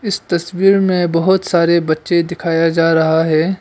इस तस्वीर में बहोत सारे बच्चे दिखाया जा रहा है।